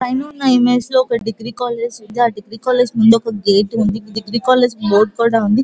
పైన ఉన్న ఇమేజ్ లో ఒక డిగ్రీ కాలేజీ ఉంది ఆ డిగ్రీ కాలేజీ కి ఒక గేట్ ఉంది డిగ్రీ కాలేజీ బోర్డు కూడా ఉంది.